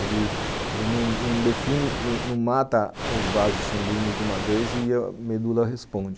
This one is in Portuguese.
Ele não não define, não não mata os vasos sanguíneos de uma vez e a medula responde.